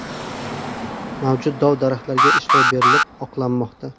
Mavjud dov-daraxtlarga ishlov berilib, oqlanmoqda.